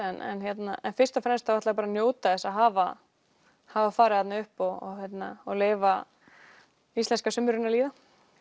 en fyrst og fremst ætla ég að njóta þess að hafa hafa farið þarna upp og og leyfa íslenska sumrinu að líða